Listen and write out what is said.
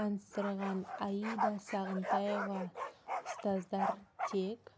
таныстырған аида сағынтаева ұстаздар тек